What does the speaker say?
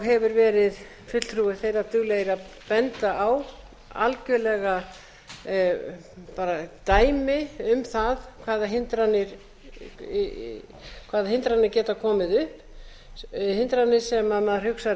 hefur verið fulltrúi þeirra duglegir að benda á algjörlega dæmi um það hvaða hindranir geta komið upp hindranir sem maður hugsar